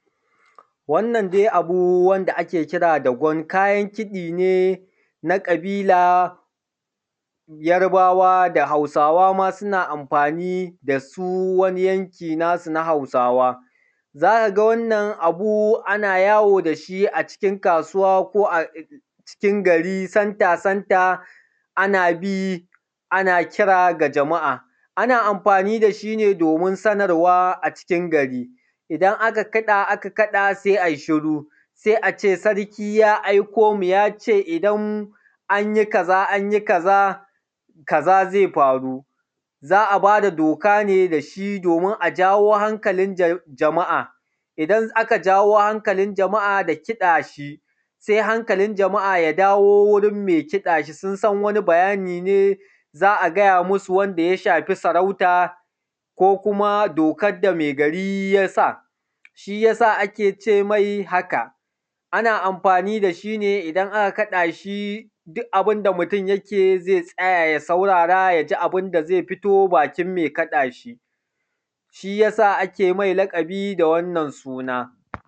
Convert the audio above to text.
Wannan dai abu da ake kira da gwan kayan kiɗi ne na ƙabila Yarbawa ma da Hausawa ma suna amfaani da su wani yanki naa su na Hausawa za ka ga wannan abu ana yawo da shi acikin kaasuwa ko acikin gari center center ana bii ana kira ga jama’a, ana amfaani da shi ne doomin sanarwa acikin gari, idan aka kaɗa aka kaɗa sai a yi shiru, sai a ce sarki ya aiko mu ya ce idan anyo kazaa anji kaza kaza zai faru za a bada doka ne da shi doomin a jawo hankalin jama’a, idan aka jawo hankalin jama’a da kiɗa shi sai hankalin jama’a ya dawo wurin mai kiɗa shi sun san wani bayani ne za gaya masu wanda ya shafi sarauta ko kuma dokar da mai gari ya sa, shiyasa ake ce mai haka, ana amfaani da shi ne idan aka kaɗaa shi duk abin da mutum yake zai tsaya ya saurara ya ji abin da zai fito bakin ma kaɗa shi, shiyasa ake mai laƙabi da wannan suna